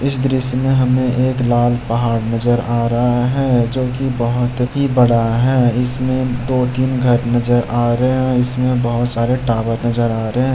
इस दृश्य में हमे एक लाल पहाड़ नजर आ रहा है जो की बहुत ही बड़ा है इसमें दो तीन घर नजर आ रहे हैं इसमें बहुत सारे टावर नजर आ रहे हैं।